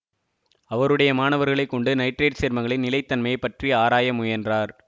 அவருடைய மாணவர்களை கொண்டு நைட்ரேட் சேர்மங்களின் நிலைத்தனமை பற்றி ஆராய முயன்றார்